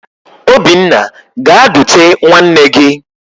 Obinna gaa dute nwanne gị!